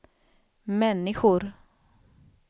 människor